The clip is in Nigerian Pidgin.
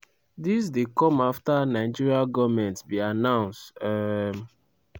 dis dey come afta nigerian goment bin announce. um